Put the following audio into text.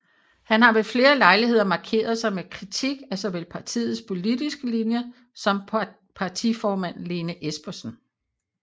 Han har ved flere lejligheder markeret sig med kritik af såvel partiets politiske linje som partiformand Lene Espersen